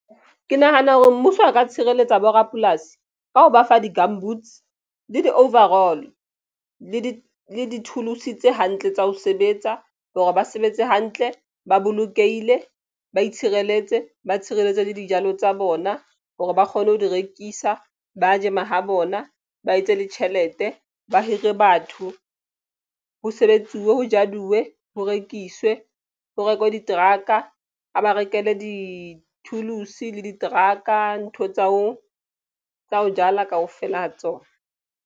Ke nahana hore mmuso a ka tshireletsa borapolasi ka ho ba fa di-gumboots le di overall le di-tools tse hantle tsa ho sebetsa hore ba sebetse hantle, ba bolokehile ba itshireletse ba tshireletse le dijalo tsa bona hore ba kgone ho di rekisa. Ba je mahabona ba etse le tjhelete ba hire batho. Ho sebetsiwe ho jalwe ho rekiswe ho rekwe di-truck-a ba rekele di-tools le diteraka ntho tsa hao tsa ho jala kaofela ha tsona.